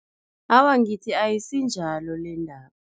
Awa, ngithi ayisinjalo lendaba.